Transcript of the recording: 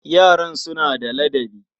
Yaran suna da ladabi.